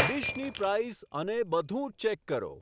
ડીશની prize અને બધું check કરો